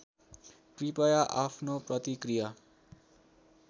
कृपया आफ्नो प्रतिक्रिया